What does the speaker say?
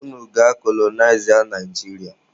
Unu gaa kolonịazịa Naijiria!